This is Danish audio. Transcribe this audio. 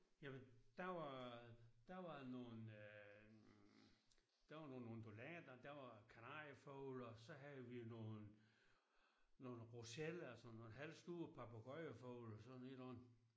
Jamen der var der var nogle der var nogle undulater der var kanariefugle og så havde vi nogen nogle rosella sådan noget halvstore papegøjefugle og sådan et eller andet